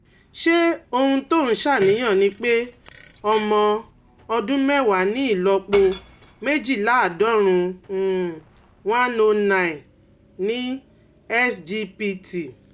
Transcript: Ṣé ohun tó ń ṣàníyàn ni pé ọmọ ọdún mẹ́wàá ní ìlọ́po méjìléláàádọ́rùn-ún [ one hundred nine ] ni SGPT?